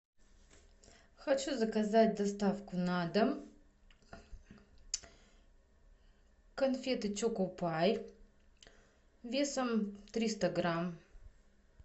хочу заказать доставку на дом конфеты чоко пай весом триста грамм